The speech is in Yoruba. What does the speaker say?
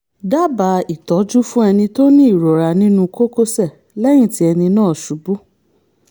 dábàá ìtọ́jú fún ẹni tó ní ìrora nínú kókósẹ̀ lẹ́yìn tí ẹni náà ṣubú